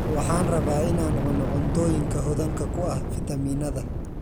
Waxaan rabaa in aan cuno cuntooyinka hodanka ku ah fitamiinada.